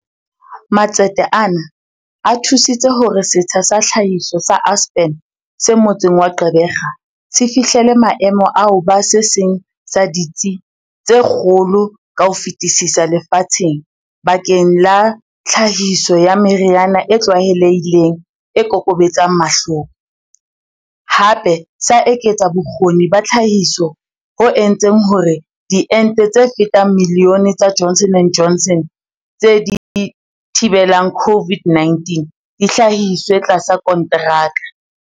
Matsete ana a thu sitse hore setsha sa tlhahiso sa Aspen se motseng wa Gqeberha se fihlele maemo a ho ba se seng sa ditsi tse kgolo ka ho fetisisa lefatsheng bakeng la tlhahiso ya meriana e tlwaelehileng e kokobetsang mahloko, hape sa eketsa bo kgoni ba tlhahiso bo entseng hore diente tse fetang milione tsa Johnson and Johnson tse thi belang COVID-19 di hlahiswe tlasa kontraka.